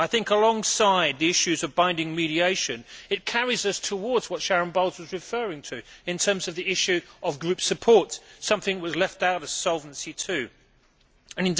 Alongside the issues of binding mediation, it carries us towards what Sharon Bowles was referring to in terms of the issue of group support something which was left out of Solvency II.